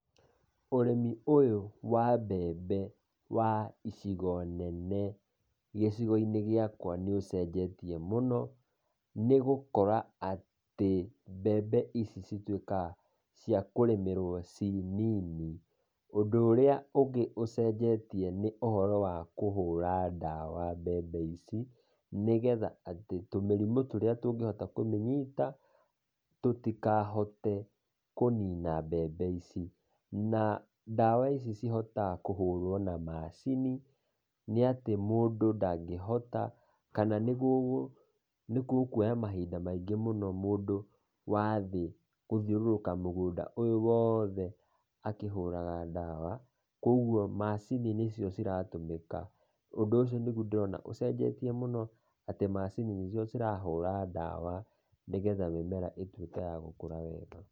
Ũrĩmi ũyũ wa mbembe wa icigo nene gĩcigo-inĩ gĩakwa nĩ ũcenjetie mũno, nĩgũkora atĩ mbembe ici cituĩkaga cia kũrĩmĩrwo cii nini. Ũndũ ũrĩa ũngĩ ũcenjetie nĩ ũhoro wa kũhũra ndawa mbembe ici, nĩgetha atĩ tũmĩrimũ tũrĩa tũngĩhota kũmĩnyita tũtĩkahote kũnina mbembe ici. Na ndawa ici cihotaga kũhũrwo na macini nĩ atĩ mũndũ ndangĩhota, kana nĩgũkuoya mahinda maingĩ mũno mũndũ wathĩ kũthiũrũrũka mũgũnda ũyũ wothe akĩhũraga ndawa, kwogwo macini nĩcio ciratũmĩka. Ũndũ ũcio nĩgwo ndĩrona ũcenjetie mũno, atĩ macini nĩcio cirahũra ndawa, nĩgetha mĩmera ĩtuĩke ya gũkũra wega.